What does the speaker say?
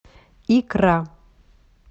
икра